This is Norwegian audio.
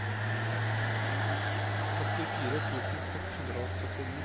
syttifire tusen seks hundre og syttini